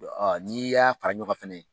N'i y'a fara ɲɔgɔn kan fana